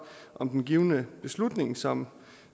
om den givne beslutning som